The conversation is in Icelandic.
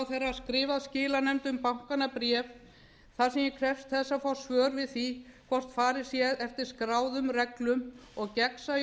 skrifað skilanefndum bankanna bréf þar sem ég krefst þess að fá svör við því hvort farið sé eftir skráðum reglum og gegnsæju